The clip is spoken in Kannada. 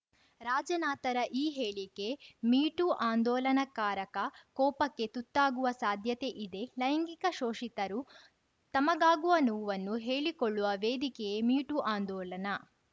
ರಾಜನಾಥ್‌ರ ಈ ಹೇಳಿಕೆ ಮೀ ಟೂ ಆಂದೋಲನಕಾರಕ ಕೋಪಕ್ಕೆ ತುತ್ತಾಗುವ ಸಾಧ್ಯತೆ ಇದೆ ಲೈಂಗಿಕ ಶೋಷಿತರು ತಮಗಾಗುವ ನೋವನ್ನು ಹೇಳಿಕೊಳ್ಳುವ ವೇದಿಕೆಯೇ ಮೀ ಟೂ ಆಂದೋಲನ